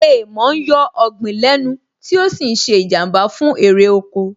Èèmọ̀ ń yọ ọ̀gbìn lẹ́nu tí ó sì ń ṣe Ìjàmbá fún èrè oko